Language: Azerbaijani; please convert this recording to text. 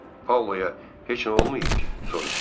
Paoloya heç nə olmayıb ki, soruşdu.